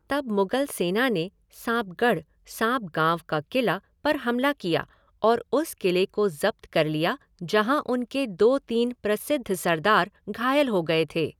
तब मुगल सेना ने सांपगढ़ सांपगांव का किला पर हमला किया और उस किले को जब्त कर लिया जहां उनके दो तीन प्रसिद्ध सरदार घायल हो गए थे।